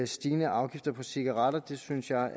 stigende afgifter på cigaretter det synes jeg